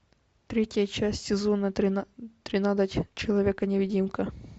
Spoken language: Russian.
третья часть сезона тринадцать человека невидимка